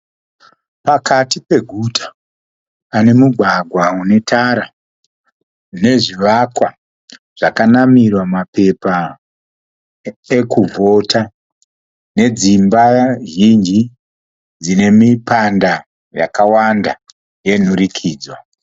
Pakati peguta pane mugwagwa unetara nezvivakwa zvakanamirwa mapepa ekuvhota nedzimba zhinji dzine mipanda yakawanda yomudurikidzwa.